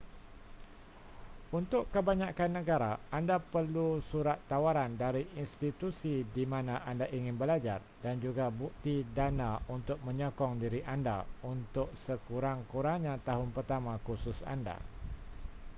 untuk kebanyakan negara anda perlu surat tawaran dari institusi di mana anda ingin belajar dan juga bukti dana untuk menyokong diri anda untuk sekurang-kurangnya tahun pertama kursus anda